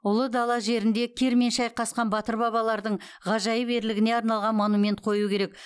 ұлы дала жерінде кирмен шайқасқан батыр бабалардың ғажайып ерлігіне арналған монумент қою керек